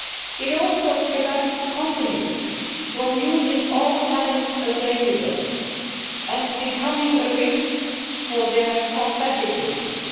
It also prevents companies from using all talents available and becomes a risk for their competitiveness.